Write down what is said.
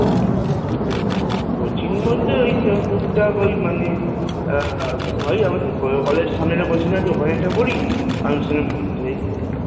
Coaching বলতে ওই টুকটাক মানে আহ ওই আমাদের কলেজের সামনে একটা Coaching center আছে ওখানে একটা পড়ি আর মধ্যে